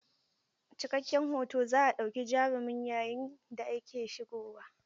Cikakken hoto za a ɗauki jarumin yayin da yake shigowa.